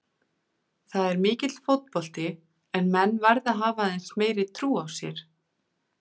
Það er mikill fótbolti en menn verða að hafa aðeins meiri trú á sér.